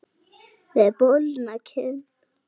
Með bólgna kinn.